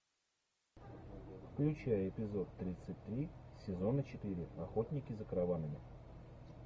включай эпизод тридцать три сезона четыре охотники за караванами